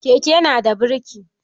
Keke nada birki.